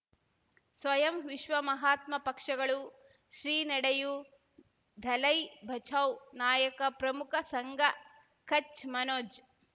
ಸ್ವಯಂ ವಿಶ್ವ ಮಹಾತ್ಮ ಪಕ್ಷಗಳು ಶ್ರೀ ನಡೆಯೂ ದಲೈ ಬಚೌ ನಾಯಕ ಪ್ರಮುಖ ಸಂಘ ಕಚ್ ಮನೋಜ್